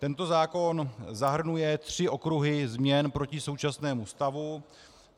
Tento zákon zahrnuje tři okruhy změn proti současnému stavu.